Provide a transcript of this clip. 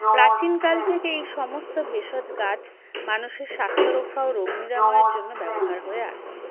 প্রাচীনকাল থেকে এই সমস্ত ভেষজ গাছ মানুষের স্বাস্থ্য রক্ষা ও রোগ নিরাময়ের জন্য ব্যবহার হয়ে আসছে